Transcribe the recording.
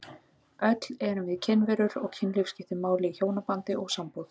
Öll erum við kynverur og kynlíf skiptir miklu máli í hjónabandi og sambúð.